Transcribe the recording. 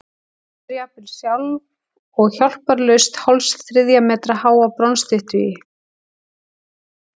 Vinnur jafnvel sjálf og hjálparlaust hálfs þriðja metra háa bronsstyttu í